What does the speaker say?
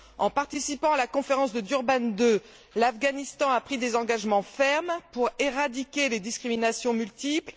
En participant à la conférence de Durban II, l'Afghanistan a pris des engagements fermes pour éradiquer les discriminations multiples.